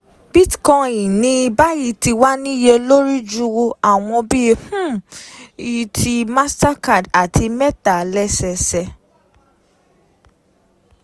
Bitcoin ní báyìí ti wá níye lórí ju àwọn bí um i ti MasterCard àti Meta, lẹ́sẹsẹ.